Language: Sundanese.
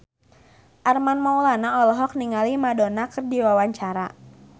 Armand Maulana olohok ningali Madonna keur diwawancara